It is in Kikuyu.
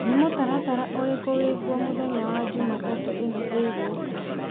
nĩ mũtaratara ũrĩkũ wĩ kuo mũthenya wa jumatatũ ĩno ĩgũũka